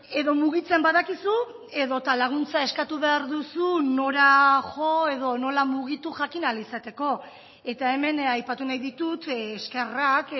edo mugitzen badakizu edota laguntza eskatu behar duzu nora jo edo nola mugitu jakin ahal izateko eta hemen aipatu nahi ditut eskerrak